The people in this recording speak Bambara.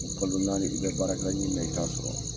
Kalo naani i bɛ baarakɛla ɲini na i t'a sɔrɔ.